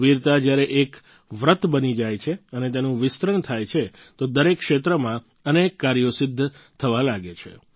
વીરતા જ્યારે એક વ્રત બની જાય છે અને તેનું વિસ્તરણ થાય છે તો દરેક ક્ષેત્રમાં અનેક કાર્યો સિદ્ધ થવા લાગે છે